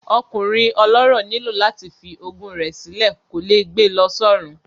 Ọkùnrin ọlọ́rọ̀ nílò láti fi ogún rẹ̀ sí lọ, kò lè gbe lọ sọ́run